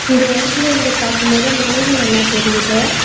இந்த எடத்துல இருந்து பாக்கும்போது மலைகள் எல்லா தெரியிது.